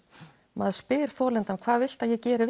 maður spyr þolandann hvað viltu að ég geri